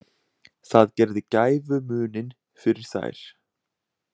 Það gerði gæfumuninn fyrir þær